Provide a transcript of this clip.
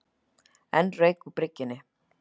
Enn rauk úr bryggjunni